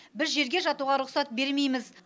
біз жерге жатуға рұқсат бермейміз